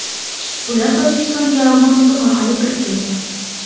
Ular Tojikistonga Afg‘oniston orqali kirib kelgan.